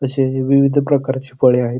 तसे विविध प्रकारची फळे आहेत.